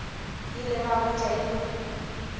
ile ba hwetša e le